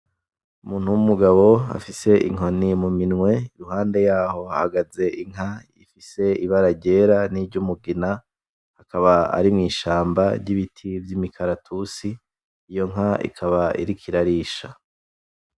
Umuntu w'umugabo afise inkoni mumiwe iruhande yaho hahagaze Inka ifise ibara ryera; n'iryumugina akaba ari mw'ishamba ry'ibiti vy'imikaratusi iyo nka ikaba iriko irarisha.